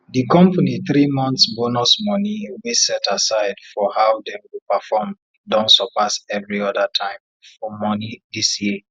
di company three months bonus money wey set aside for how dem go perform don surpass every other time for money dis year